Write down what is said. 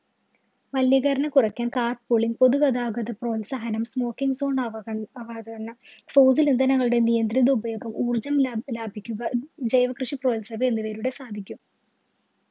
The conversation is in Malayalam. മലിനീകരണം കുറയ്ക്കാന്‍ car pooling പൊതു ഗതാഗത പ്രോത്സാഹനം, smoking അവഗണന, fossil ഇന്ധനങ്ങളുടെ നിയന്ത്രിത ഉപയോഗം, ഊര്‍ജ്ജം ലാഭിലാഭിക്കുക, ജൈവകൃഷി പ്രോത്സാഹനം എന്നിവയിലൂടെ സാധിക്കും.